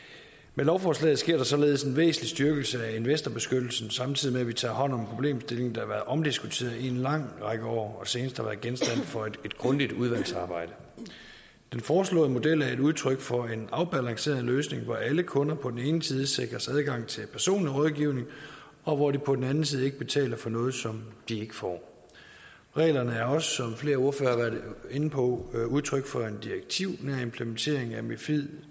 med lovforslaget sker der således en væsentlig styrkelse af investorbeskyttelsen samtidig med at vi tager hånd om problemstillingen der har været omdiskuteret i en lang række år og senest har været genstand for et grundigt udvalgsarbejde den foreslåede model er et udtryk for en afbalanceret løsning hvor alle kunder på den ene side sikres adgang til personlig rådgivning og hvor de på den anden side ikke betaler for noget som de ikke får reglerne er også som flere ordførere har været inde på udtryk for en direktivnær implementering af mifid